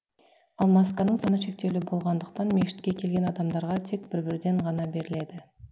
ал масканың саны шектеулі болғандықтан мешітке келген адамдарға тек бір бірден ғана беріледі